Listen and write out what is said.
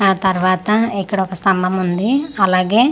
ఆ తర్వాత ఇక్కడ ఒక స్థంభముంది అలాగే--